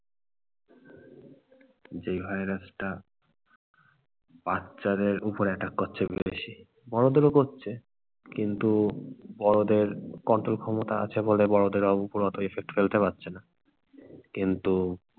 যেই ভাইরাসটা, বাচ্চাদের উপর attack করছে বেশি। বড়দেরও করছে কিন্তু বড়দের control ক্ষমতা আছে বলে বড়দের ওপর ওত effect ফেলতে পারছে না। কিন্তু